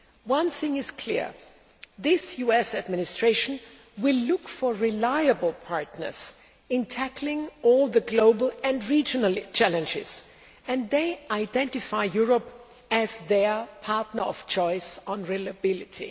One thing is clear this US Administration will look for reliable partners in tackling all the global and regional challenges, and they identify Europe as their partner of choice on reliability.